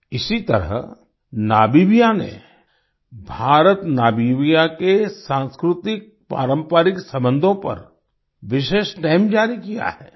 इसी तरह नामीबिया में भारतनामीबिया के सांस्कृतिकपारंपरिक संबंधों पर विशेष स्टैम्प जारी किया है